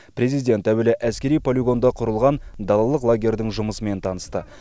президент әуелі әскери полигонда құрылған далалық лагерьдің жұмысымен танысты